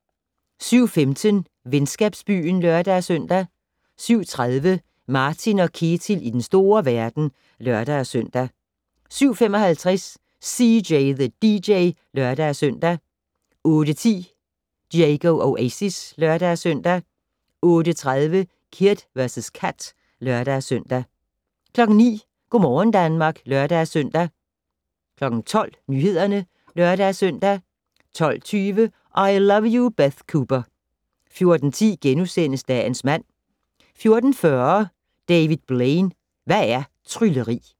07:15: Venskabsbyen (lør-søn) 07:30: Martin & Ketil i den store verden (lør-søn) 07:55: CJ the DJ (lør-søn) 08:10: Diego Oasis (lør-søn) 08:30: Kid vs Kat (lør-søn) 09:00: Go' morgen Danmark (lør-søn) 12:00: Nyhederne (lør-søn) 12:20: I Love You, Beth Cooper 14:10: Dagens mand * 14:40: David Blaine - Hvad er trylleri?